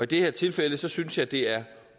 det her tilfælde synes jeg det er